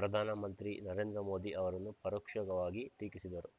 ಪ್ರಧಾನಮಮಂತ್ರಿ ನರೇಂದ್ರ ಮೋದಿ ಅವರನ್ನು ಪರೋಕ್ಷವಾಗಿ ಟೀಕಿಸಿದರು